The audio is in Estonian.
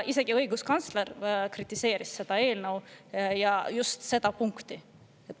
Isegi õiguskantsler kritiseeris seda eelnõu ja just seda punkti.